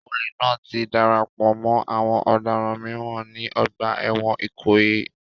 Olè náà ti darapọ̀ mọ́ àwọn ọ̀daràn mìíràn ní ọgbà ẹ̀wọ̀n Ikoyi